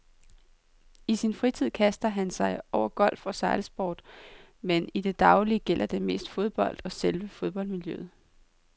I sin fritid kaster han sig over golf og sejlsport, men i det daglige gælder det mest fodbold og selve fodboldmiljøet.